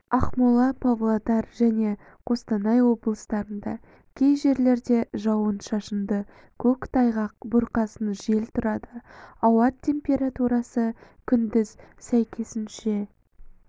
ақмола павлодар және қостанай облыстарында кей жерлерде жауын-шашынды көктайғақ бұрқасын жел тұрады ауа температурасы күндіз сәйкесінше